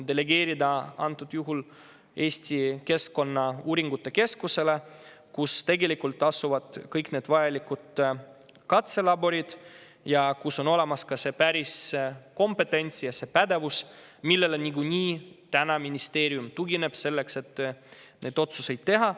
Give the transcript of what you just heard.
Praegusel juhul saab selle delegeerida Eesti Keskkonnauuringute Keskusele, kus asuvad kõik vajalikud katselaborid ning kus on olemas ka päris kompetents ja see pädevus, millele niikuinii täna ministeerium tugineb selleks, et neid otsuseid teha.